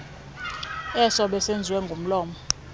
eso besenziwe ngomlomo